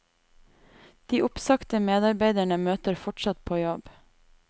De oppsagte medarbeiderne møter fortsatt på jobb.